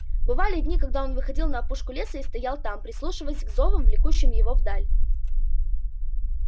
бывали дни когда он выходил на опушку леса и стоял там прислушиваясь к зовам влекущим его вдаль